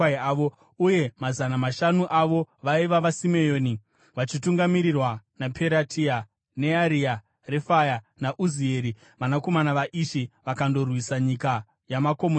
Uye mazana mashanu avo vaiva vaSimeoni vachitungamirirwa naPeratia, Nearia, Refaya naUzieri, vanakomana vaIshi, vakandorwisa nyika yamakomo yeSeiri.